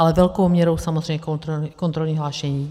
Ale velkou měrou samozřejmě kontrolní hlášení.